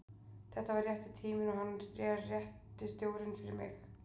Þetta var rétti tíminn og hann er rétti stjórinn fyrir mig.